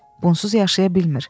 Bunsuz yaşaya bilmir.